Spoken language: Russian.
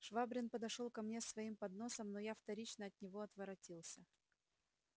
швабрин подошёл ко мне с своим подносом но я вторично от него отворотился